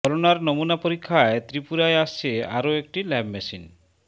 করোনার নমুনা পরীক্ষায় ত্রিপুরায় আসছে আরও একটি ল্যাব মেশিন